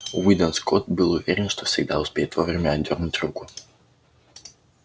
уидон скотт был уверен что всегда успеет вовремя отдёрнуть руку